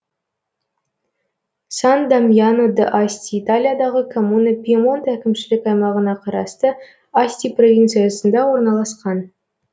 сан дамьяно д асти италиядағы коммуна пьемонт әкімшілік аймағына қарасты асти провинциясында орналасқан